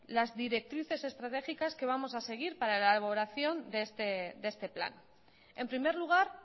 las directrices estratégicas que vamos a seguir para la elaboración de este plan en primer lugar